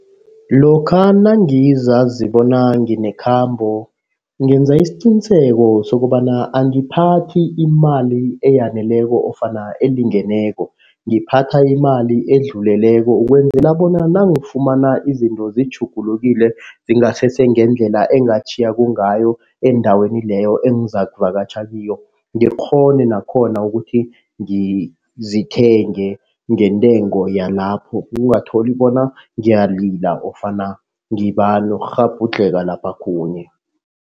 Lokha nangizazi bona nginekhambo ngenza isiqiniseko sokobana angiphathi imali eyaneleko ofana elingeneko. Ngiphatha imali edluleleko, ukwenzela bona nangifumana izinto zitjhugulukile zingasese ngendlela engatjhiya kungayo endaweni leyo engizaku vakatjha kiyo. Ngikghone nakhona ukuthi ngizithenge ngentengo yalapho ukungatholi bona ngiyalila ofana ngiba nokghabhudlheka lapha khunye.